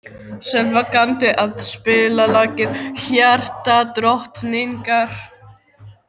Sölva, kanntu að spila lagið „Hjartadrottningar“?